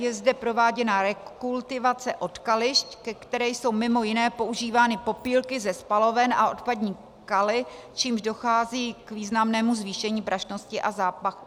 Je zde prováděna rekultivace odkališť, ke které jsou mimo jiné používány popílky ze spaloven a odpadní kaly, čímž dochází k významnému zvýšení prašnosti a zápachu.